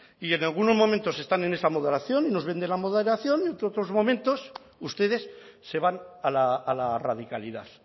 y en algunos momentos están en esta moderación y nos venden la moderación y otros momentos ustedes se van a la radicalidad